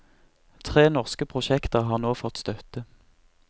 Tre norske prosjekter har nå fått støtte.